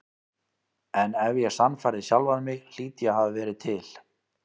En ef ég sannfærði sjálfan mig hlýt ég að hafa verið til.